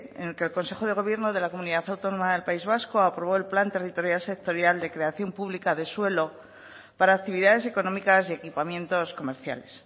en el que el consejo de gobierno de la comunidad autónoma del país vasco aprobó el plan territorial sectorial de creación pública de suelo para actividades económicas y equipamientos comerciales